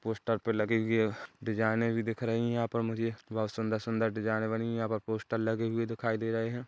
Poster पे लगे हुए डिजाइने भी दिख रही है यहां पे मुझे बहुत सुंदर सुंदर डिजाइन बनी हुई यहाँ पर पोस्टर लगे हुए दिखाई दे रहे है।